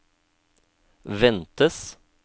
ventes